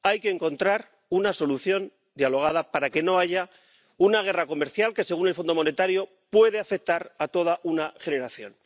Hay que encontrar una solución dialogada para que no haya una guerra comercial que, según el Fondo Monetario Internacional, puede afectar a toda una generación.